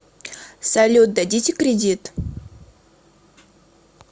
салют дадите кредит